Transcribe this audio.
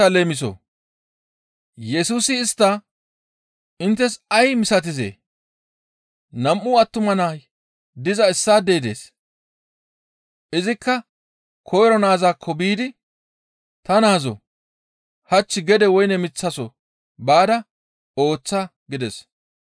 Yesusi istta, «Inttes ay misatizee? Nam7u attuma nay diza issaadey dees; izikka koyro naazakko biidi, ‹Ta naazoo! Hach gede woyne miththaso baada ooththa› gides.